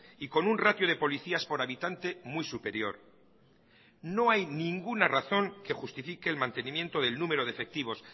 y con un ratio de policías por habitante muy superior no hay ninguna razón que justifique el mantenimiento del número de efectivos